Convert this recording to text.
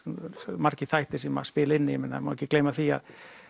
margir þættir sem að spila inn í það má ekki gleyma því að